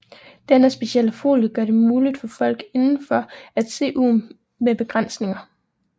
Denne specielle folie gør det muligt for folk indenfor at se ud med begrænsninger